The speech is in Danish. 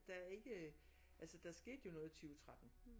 Der er ikke altså der skete jo noget i 20 13